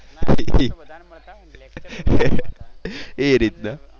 એ રીતના.